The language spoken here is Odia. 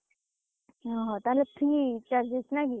ଉଁ ହ ତାହେନେ free charges ନାଇ କି?